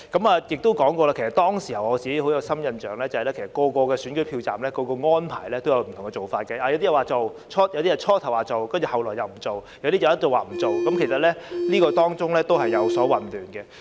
我也說過，我對當時有很深刻的印象，不同投票站有不同的安排，部分投票站初時說做，但後來又沒有做，部分則一直都沒有做，其實當中亦有混亂的情況。